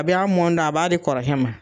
A bi a mɔndɔ, a b'a di kɔrɔkɛ ma.